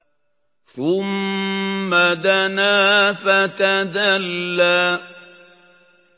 ثُمَّ دَنَا فَتَدَلَّىٰ